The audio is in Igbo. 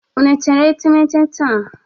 Unu tere etemete taa?